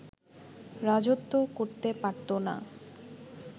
রাজত্ব করতে পারতো না